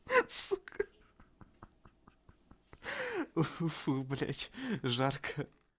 сука уфуфу блять жарко